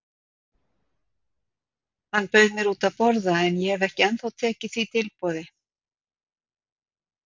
Hann bauð mér út að borða en ég hef ekki ennþá tekið því tilboð.